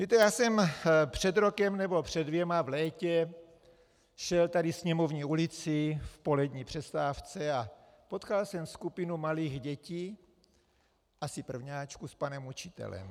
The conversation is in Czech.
Víte, já jsem před rokem nebo před dvěma v létě šel tady Sněmovní ulicí v polední přestávce a potkal jsem skupinu malých dětí, asi prvňáčků, s panem učitelem.